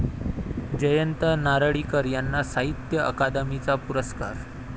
जयंत नारळीकर यांना साहित्य अकादमीचा पुरस्कार